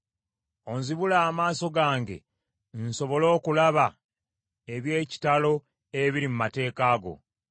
Ozibule amaaso gange, nsobole okulaba eby’ekitalo ebiri mu mateeka go.